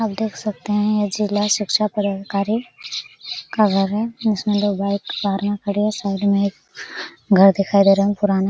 आप देख सकते है यह जिला शिच्छा पदाधिकारी का घर है जिस में दो बाइक बहार में खड़ी है साइड में एक घर दिखाई दे रहा है वो पुराना--